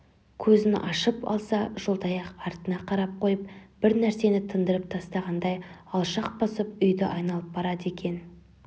көзін ашып алса жолдаяқ артына қарап қойып бір нәрсені тындырып тастағаңдай алшақ басып үйді айналып барады екен